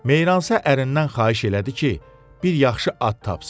Meyransa ərindən xahiş elədi ki, bir yaxşı ad tapsın.